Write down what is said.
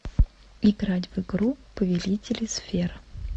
играть в игру повелители сфер